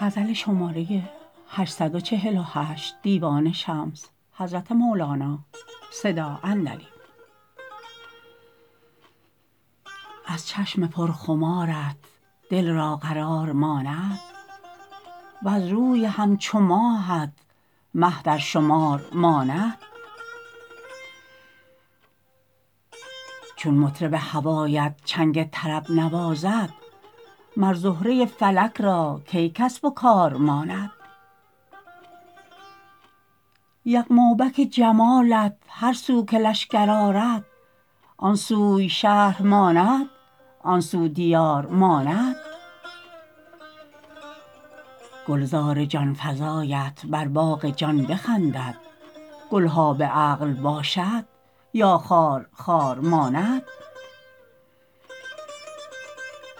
از چشم پرخمارت دل را قرار ماند وز روی همچو ماهت در مه شمار ماند چون مطرب هوایت چنگ طرب نوازد مر زهره فلک را کی کسب و کار ماند یغمابک جمالت هر سو که لشکر آرد آن سوی شهر ماند آن سو دیار ماند گلزار جان فزایت بر باغ جان بخندد گل ها به عقل باشد یا خار خار ماند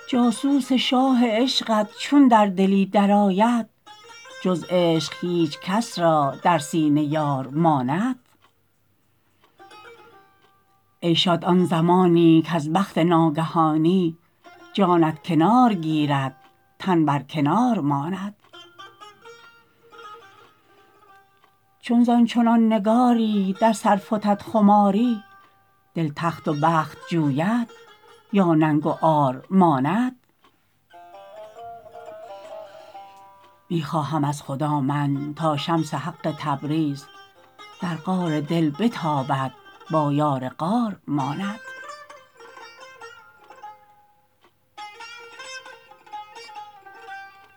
جاسوس شاه عشقت چون در دلی درآید جز عشق هیچ کس را در سینه یار ماند ای شاد آن زمانی کز بخت ناگهانی جانت کنار گیرد تن برکنار ماند چون زان چنان نگاری در سر فتد خماری دل تخت و بخت جوید یا ننگ و عار ماند می خواهم از خدا من تا شمس حق تبریز در غار دل بتابد با یار غار ماند